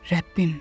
Rəbbim.